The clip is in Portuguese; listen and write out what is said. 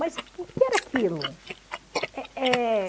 Mas que que era aquilo? Eh eh...